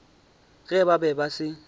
ge ba be ba se